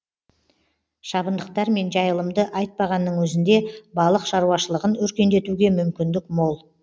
шабындықтар мен жайылымды айтпағанның өзінде балық шаруашылығын өркендетуге мүмкіндік мол